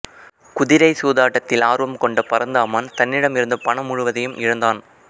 குதிரை சூதாட்டத்தில் ஆர்வம் கொண்ட பரந்தாமன் தன்னிடம் இருந்த பணம் முழுவதையும் இழந்தான்